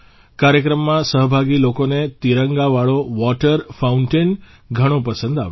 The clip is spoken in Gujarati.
કાર્યક્રમમાં સહભાગી લોકોને તિરંગા વાળો વોટર ફાઉન્ટેન ઘણો પસંદ આવ્યો